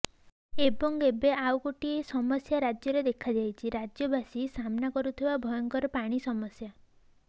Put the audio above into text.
ଏବଂ ଏବେ ଆଉ ଗୋଟିଏ ସମସ୍ୟା ରାଜ୍ୟରେ ଦେଖାଯାଇଛି ରାଜ୍ୟବାସୀ ସାମ୍ନା କରୁଥିବା ଭୟଙ୍କର ପାଣି ସମସ୍ୟା